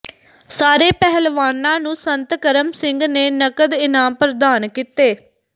ਸਾਰੇ ਪਹਿਲਵਾਨਾਂ ਨੂੰ ਸੰਤ ਕਰਮ ਸਿੰਘ ਨੇ ਨਕਦ ਇਨਾਮ ਪ੍ਰਦਾਨ ਕੀਤੇ